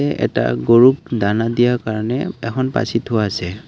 এই এটা গৰুক দানা দিয়াৰ কাৰণে এখন পাচি থোৱা আছে।